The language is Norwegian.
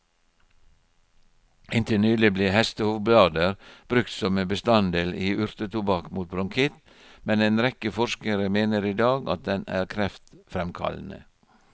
Inntil nylig ble hestehovblader brukt som en bestanddel i urtetobakk mot bronkitt, men en rekke forskere mener i dag at den er kreftfremkallende.